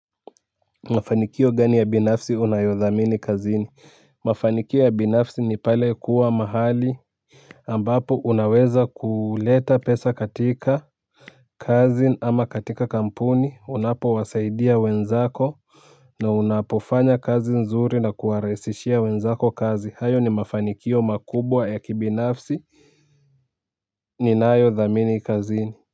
Mafanikio gani ya binafsi unayodhamini kazini? Mafanikio ya binafsi ni pale kuwa mahali ambapo unaweza kuleta pesa katika kazi ama katika kampuni unapowasaidia wenzako na unapofanya kazi nzuri na kuwarahisishia wenzako kazi hayo ni mafanikio makubwa ya kibinafsi ninayothamini kazini.